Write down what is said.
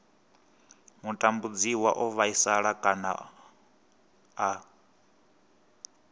mutambudziwa o vhaisala kana a